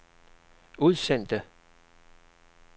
udsendte